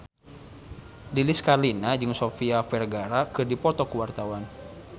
Lilis Karlina jeung Sofia Vergara keur dipoto ku wartawan